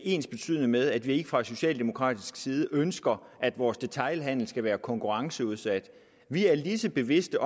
ensbetydende med at vi ikke fra socialdemokratisk side ønsker at vores detailhandel skal være konkurrenceudsat vi er lige så bevidste